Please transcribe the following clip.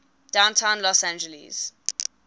downtown los angeles